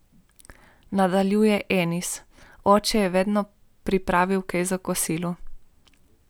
Nadaljuje Enis: 'Oče je vedno pripravil kaj za kosilo.